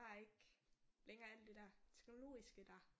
Der er ikke længere alt det der teknologiske der